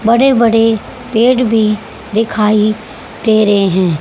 बड़े बड़े पेड़ भी दिखाई दे रहे हैं।